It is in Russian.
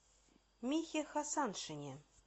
михе хасаншине